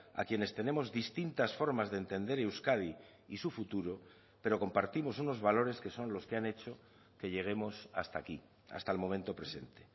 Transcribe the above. a quienes tenemos distintas formas de entender euskadi y su futuro pero compartimos unos valores que son los que han hecho que lleguemos hasta aquí hasta el momento presente